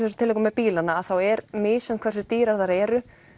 þessum tilvikum með bílana þá er misjafn hversu dýrar þær eru